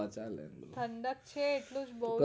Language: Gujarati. ઠંડક છે એટલે બોવ